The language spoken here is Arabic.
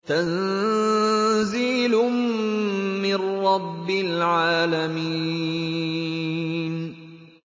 تَنزِيلٌ مِّن رَّبِّ الْعَالَمِينَ